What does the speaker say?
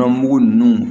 Gan mugu ninnu